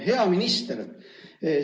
Hea minister!